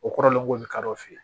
O kɔrɔlen ko bi kadɔ fɛ